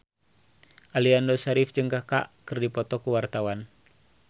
Aliando Syarif jeung Kaka keur dipoto ku wartawan